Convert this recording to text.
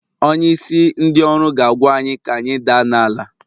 Onyeisi ndị ọrụ ga-agwa anyị ka anyị daa n'ala.